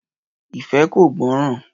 Ìfẹ́ kò gbọ́ràn